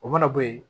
O mana bɔ yen